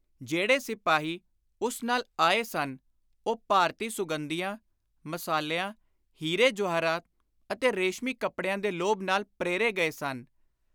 ਜਿਹੜੇ ਸਿਪਾਹੀ ਉਸ ਨਾਲ ਆਏ ਸਨ ਉਹ ਭਾਰਤੀ ਸੁਗੰਧੀਆਂ, ਮਸਾਲਿਆਂ, ਹੀਰੇ-ਜਵਾਹਰਾਤ ਅਤੇ ਰੇਸ਼ਮੀ ਕੱਪੜਿਆਂ ਦੇ ਲੋਭ ਨਾਲ ਪ੍ਰੇਰੇ ਗਏ ਸਨ।